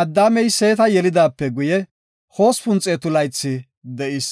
Addaamey Seeta yelidaape guye 800 laythi de7is.